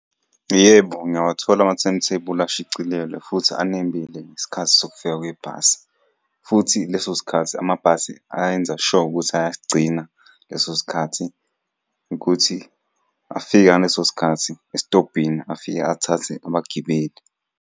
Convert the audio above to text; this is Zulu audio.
Yebo, ngiyawathola ama-timetable ashicilelwe futhi anembile ngesikhathi sokufika kwebhasi, futhi leso sikhathi amabhasi ayenza sure ukuthi asigcina leso sikhathi ukuthi afike ngaleso sikhathi esitobhini afike athathe abagibeli.